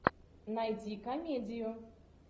найди комедию